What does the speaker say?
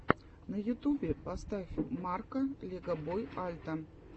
на ютюбе поставь марка легобой альта